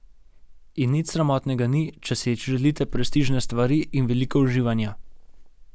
In nič sramotnega ni, če si želite prestižne stvari in veliko uživanja.